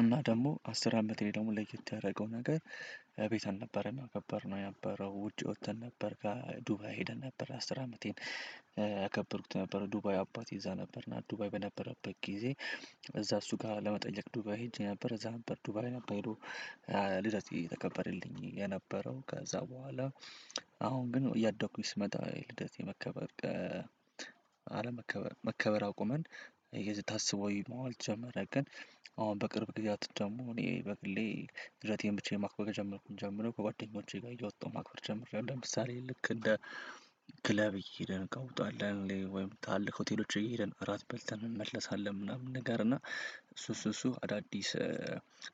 እና ደግሞ አስር አመቴ ደግሞ ለየት ያደረገው ነገር እቤት አልነበረና ያከበርነው የነበረው። ውጪ ወጥተን ነበር ጋር ዱባይ ሄደን ነበር አስር አመቴን ያ ያከበርኩት ነበር ዱባይ አባቴ እዛ ነበር። ዱባይ በነበረበት ጊዜ እዛ እሱ ጋር ለመጠየቅ ዱባይ ሄጄ ነበር እዛ ነበር ዱባይ ነበር ልደት የተከበረልኝ የነበረው ከዛ በኋላ አሁን ግን እያደኩኝ ስመጣ ልደት የመከበር አለመከበር መከበር አቁመን የታሰበው መዋልት ጀመረ ግን አሁን በቅርብ ጊዛት ደግሞ እኔ በግሌ ልደቴን ብቻዬን ማክበር የጀመርኩ ጀምሮ ከጓደኞቼ ጋር እየወጣሁ ማክበር ጀምሬያለሁ ለምሳሌ ልክ እንደ ክለብ እየሄደ እንቀውጣለን። ወይም ታልቅ ሆቴሎች እየሄድን እራት በልተን እንመለሳለን። ምናምን ነገር እና እሱ እሱ እሱ አዳዲስ